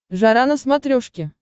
жара на смотрешке